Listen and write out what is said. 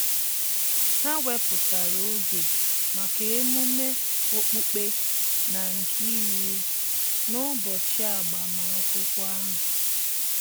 Ha wepụtara oge maka emume okpukpe na-nke iwu n'ụbọchị agbamakwụkwọ ahu